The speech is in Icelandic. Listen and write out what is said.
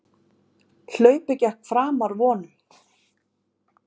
Hlaupið gekk framar vonum